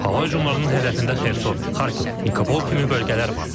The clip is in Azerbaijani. Hava hücumlarının hədəfində Xerson, Xarkov, Nikopol kimi bölgələr var.